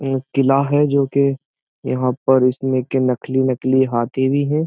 ये एक किला है जो कि यहाँ पर इसमें के नकली नकली हाथी भी है।